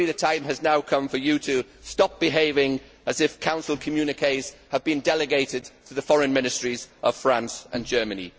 Surely, the time has now come for you to stop behaving as if Council communiqués have been delegated to the foreign ministries of France and Germany.